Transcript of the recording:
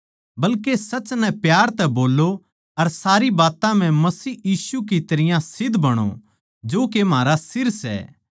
बल्के सच नै प्यार तै बोल्लों अर सारी बात्तां म्ह मसीह यीशु की तरियां सिध्द बणो जो के म्हारा सिर सै